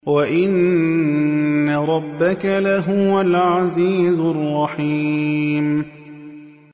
وَإِنَّ رَبَّكَ لَهُوَ الْعَزِيزُ الرَّحِيمُ